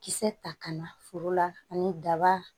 Kisɛ ta ka na foro la ani daba